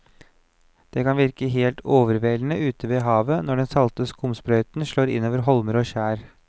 Det kan virke helt overveldende ute ved havet når den salte skumsprøyten slår innover holmer og skjær.